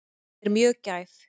Er mjög gæf.